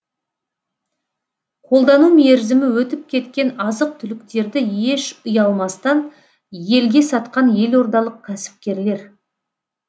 қолдану мерзімі өтіп кеткен азық түліктерді еш ұялмастан елге сатқан елордалық кәсіпкерлер